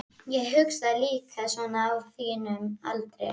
Ég hugsaði líka svona á þínum aldri.